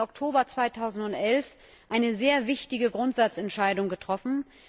18. Oktober 2011 eine sehr wichtige Grundsatzentscheidung getroffen.